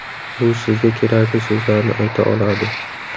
U sizga kerakli so‘zlarni ayta oladi.